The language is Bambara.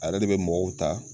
A yɛrɛ de bɛ mɔgɔw ta